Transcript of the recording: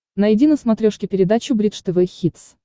найди на смотрешке передачу бридж тв хитс